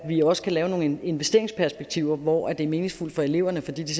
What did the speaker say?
vi også kan lave nogle investeringsperspektiver hvor det er meningsfuldt for eleverne fordi de